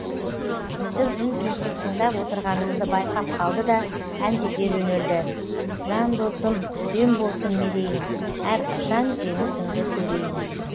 біздің үн түнсіз тыңдап отырғанымызды байқап қалды да әндете жөнелді жан досым үстем болсын мерейің әрқашан жеңісіңді көрейін